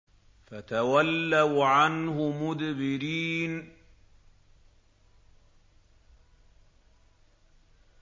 فَتَوَلَّوْا عَنْهُ مُدْبِرِينَ